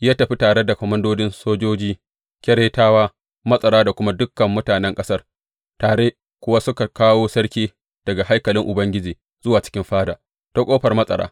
Ya tafi tare da komandodin sojoji, Keretawa, matsara da kuma dukan mutanen ƙasar, tare kuwa suka kawo sarki daga haikalin Ubangiji zuwa cikin fada, ta ƙofar matsara.